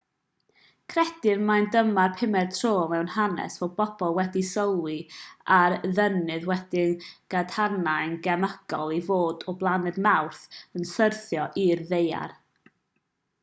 credir mai dyma'r pumed tro mewn hanes fod pobl wedi sylwi ar ddeunydd wedi'i gadarnhau'n gemegol i fod o blaned mawrth yn syrthio i'r ddaear